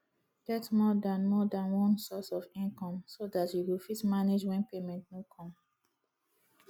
get more than more than one source of income so dat you go fit manage when payment no come